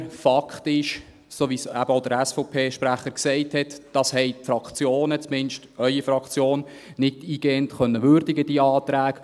Aber Fakt ist, so wie es eben der SVP-Sprecher auch gesagt hat, dass die Fraktionen – zumindest Ihre Fraktion – diese Anträge nicht eingehend würdigen konnten.